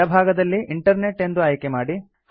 ಎಡ ಭಾಗದಲ್ಲಿ ಇಂಟರ್ನೆಟ್ ಎಂದು ಆಯ್ಕೆ ಮಾಡಿ